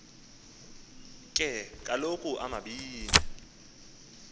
ke kaloku omabini